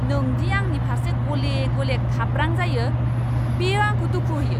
नों दि आंनि फारसे गले गले खाब्रां जायो बेयो आंखौ दुखु होयो।